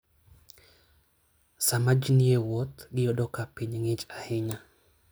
Sama ji ni e wuoth, giyudo ka piny ng'ich ahinya.